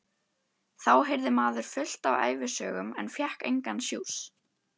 Þá heyrði maður fullt af ævisögum en fékk engan sjúss.